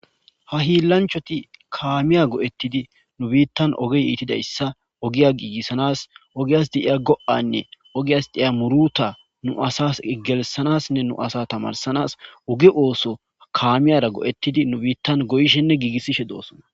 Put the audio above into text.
Ha hilanchchati kamiya go"etidi nu bittan ogey ittidayssa ogiya gigisanas woyikko ogass de'ya go'anne ogiyas de'ya muruta nu asas gelsanasnne nu asa tamarsanas oge oso kamiyara go'etidi nu bittan goyishshenne gigisishse dos